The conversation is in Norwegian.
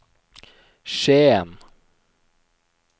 Skien